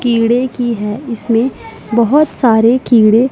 कीड़े की है इसमें बहुत सारे कीड़े--